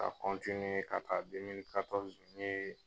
Ka ka taa n ye